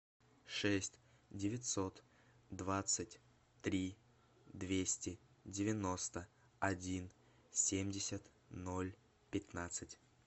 шесть девятьсот двадцать три двести девяносто один семьдесят ноль пятнадцать